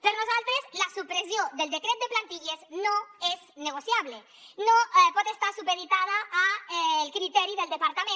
per nosaltres la supressió del decret de plantilles no és negociable no pot estar supeditada al criteri del departament